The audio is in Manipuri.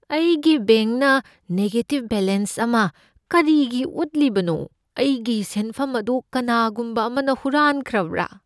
ꯑꯩꯒꯤ ꯕꯦꯡꯛꯅ ꯅꯦꯒꯦꯇꯤꯕ ꯕꯦꯂꯦꯟꯁ ꯑꯃ ꯀꯔꯤꯒꯤ ꯎꯠꯂꯤꯕꯅꯣ? ꯑꯩꯒꯤ ꯁꯦꯟꯐꯝ ꯑꯗꯨ ꯀꯅꯥꯒꯨꯝꯕ ꯑꯃꯅ ꯍꯨꯔꯥꯟꯈ꯭ꯔꯕ꯭ꯔꯥ?